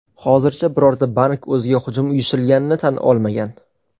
Hozircha birorta bank o‘ziga hujum uyushtirilganini tan olmagan.